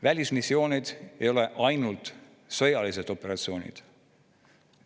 Välismissioonid ei ole ainult sõjalised operatsioonid.